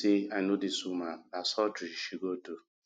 i know dis woman na surgery she go do